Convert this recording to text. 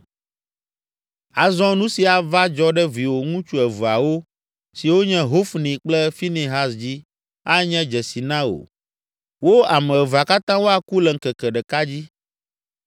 “ ‘Azɔ nu si ava dzɔ ɖe viwò ŋutsu eveawo, siwo nye Hofni kple Finehas dzi anye dzesi na wò; wo ame evea katã woaku le ŋkeke ɖeka dzi.